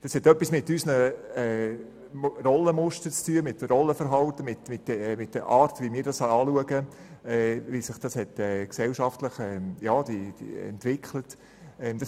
Das hat etwas mit unseren Rollenmustern und -verhalten zu tun, mit der Art, wie wir diese betrachten und wie sich diese gesellschaftlich entwickelt haben.